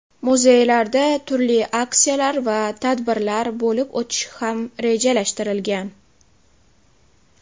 Muzeylarda turli aksiyalar va tadbirlar bo‘lib o‘tishi ham rejalashtirilgan.